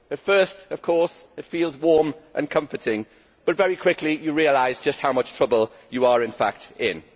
At first it feels warm and comforting but very quickly you realise just how much trouble you are in fact in.